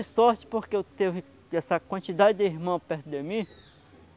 sorte porque eu tive essa quantidade de irmãos perto de mim.